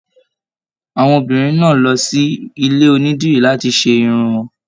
Àwọn obìnrin náà lọ sí ilé onídìrí láti ṣe Irun wọn.